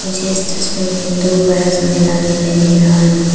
मुझे इस तस्वीर में दो बड़ा सा मैदान दिखाई दे रहा है।